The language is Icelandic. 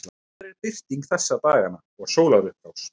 hvenær er birting þessa dagana og sólarupprás